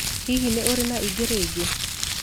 Hihi nĩ ũrĩ na ĩngĩ rĩngĩ?